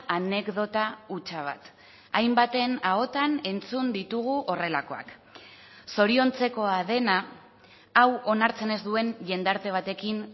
anekdota hutsa bat hainbaten ahotan entzun ditugu horrelakoak zoriontzekoa dena hau onartzen ez duen jendarte batekin